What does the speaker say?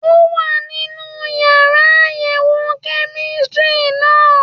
Ó wà nínú yàrá àyẹ̀wò kẹ́mísítírì náà